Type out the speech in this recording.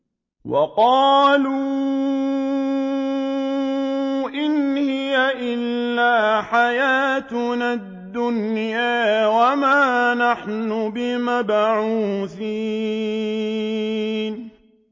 وَقَالُوا إِنْ هِيَ إِلَّا حَيَاتُنَا الدُّنْيَا وَمَا نَحْنُ بِمَبْعُوثِينَ